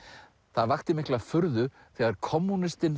það vakti mikla furðu þegar